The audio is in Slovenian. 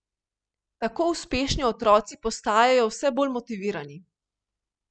Tako uspešni otroci postajajo vse bolj motivirani.